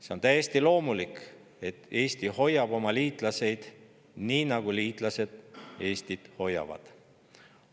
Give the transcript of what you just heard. See on täiesti loomulik, et Eesti hoiab oma liitlasi, nii nagu liitlased Eestit hoiavad.